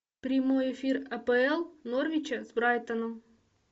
прямой эфир апл норвича с брайтоном